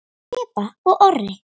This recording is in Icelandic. Heba og Orri.